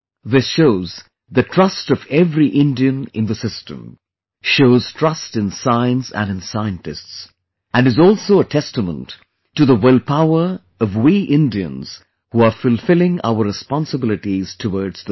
This shows the trust of every Indian in the system; shows trust in science and in scientists; and is also a testament to the willpower of we Indians who are fulfilling our responsibilities towards the society